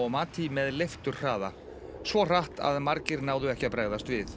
mati með leifturhraða svo hratt að margir náðu ekki að bregðast við